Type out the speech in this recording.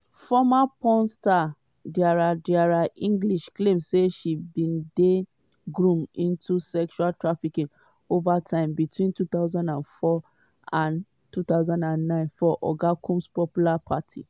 former porn star adria adria english claim say she bin dey "groomed into sex trafficking over time" between 2004 and 2009 for oga combs popular parties.